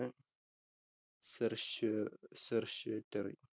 Certiorari.